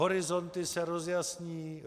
Horizonty se rozjasní.